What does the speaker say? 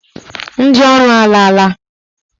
Ndị ọrụ alaala.